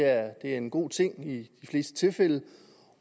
er en god ting i de fleste tilfælde